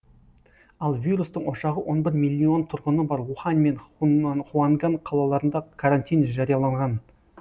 ал вирустың ошағы он бір миллион тұрғыны бар ухань мен хуанган қалаларында карантин жарияланған